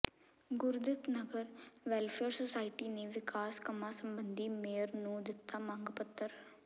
Gurdit Nagar welfare society ਨੇ ਵਿਕਾਸ ਕੰਮਾਂ ਸਬੰਧੀ ਮੇਅਰ ਨੂੰ ਦਿੱਤਾ ਮੰਗ ਪੱਤਰ